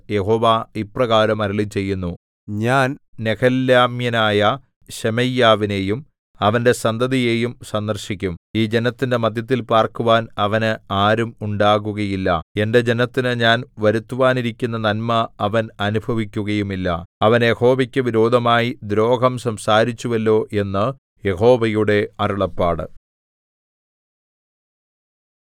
യഹോവ ഇപ്രകാരം അരുളിച്ചെയ്യുന്നു ഞാൻ നെഹെലാമ്യനായ ശെമയ്യാവിനെയും അവന്റെ സന്തതിയെയും സന്ദർശിക്കും ഈ ജനത്തിന്റെ മദ്ധ്യത്തിൽ പാർക്കുവാൻ അവന് ആരും ഉണ്ടാകുകയില്ല എന്റെ ജനത്തിനു ഞാൻ വരുത്തുവാനിരിക്കുന്ന നന്മ അവൻ അനുഭവിക്കുകയുമില്ല അവൻ യഹോവയ്ക്കു വിരോധമായി ദ്രോഹം സംസാരിച്ചുവല്ലോ എന്ന് യഹോവയുടെ അരുളപ്പാട്